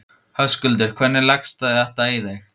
Höskuldur: Hvernig leggst þetta í þig?